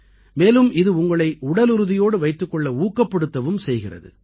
மேலும் இது உங்களை உடலுறுதியோடு வைத்துக் கொள்ள ஊக்கப்படுத்தவும் செய்கிறது